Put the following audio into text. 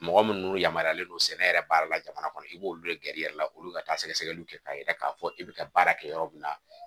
Mɔgɔ minnu yamaruyalen don sɛnɛ yɛrɛ baara la jamana kɔnɔ i b'olu de gɛrijɛ la olu ka taa sɛgɛsɛgɛliw kɛ k'a yira k'a fɔ e bɛ ka baara kɛ yɔrɔ min na